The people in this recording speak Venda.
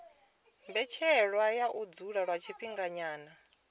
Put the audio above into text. mbetshelwa ya u dzula lwa tshifhinganyana